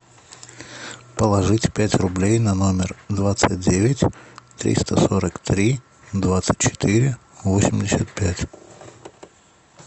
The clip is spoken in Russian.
положить пять рублей на номер двадцать девять триста сорок три двадцать четыре восемьдесят пять